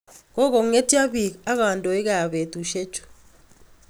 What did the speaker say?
Koko'ngetio biik ak kadoik kap betusiek chu